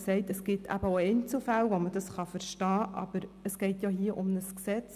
Er hat gesagt, es gebe auch Einzelfälle, wo man dies verstehen könne, aber es gehe hier um ein Gesetz.